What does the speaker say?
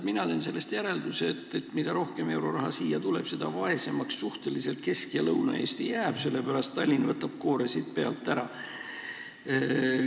Mina teen sellest järelduse, et mida rohkem euroraha siia tuleb, seda suhteliselt vaesemaks jäävad Kesk- ja Lõuna-Eesti, sellepärast et Tallinn võtab siit koore pealt ära.